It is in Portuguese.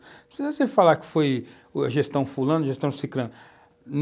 Não precisa você falar que foi gestão fulano, gestão ciclano.